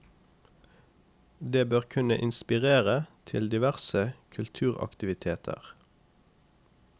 Det bør kunne inspirere til diverse kulturaktiviteter.